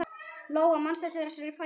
Lóa: Manstu eftir þessari fæðingu?